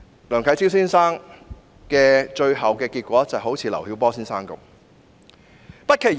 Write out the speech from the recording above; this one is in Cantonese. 梁啟超先生最終的遭遇可能就像劉曉波先生一樣。